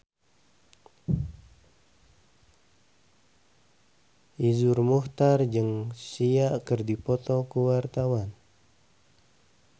Iszur Muchtar jeung Sia keur dipoto ku wartawan